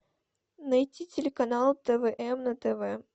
найти телеканал твм на тв